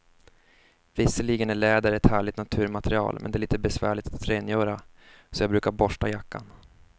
Visserligen är läder ett härligt naturmaterial, men det är lite besvärligt att rengöra, så jag brukar borsta jackan.